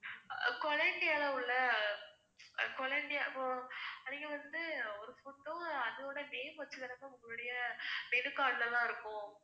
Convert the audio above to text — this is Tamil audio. அஹ் கொலம்பியால உள்ள அஹ் கொலம்பியா ஹம் நீங்க வந்து ஒரு food உம் அதோட name வச்சுதான ma'am உங்களோட menu card ல எல்லாம் இருக்கும்.